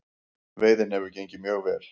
Veiðin hefur gengið mjög vel